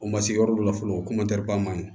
O ma se yɔrɔ dɔ la fɔlɔ o maɲi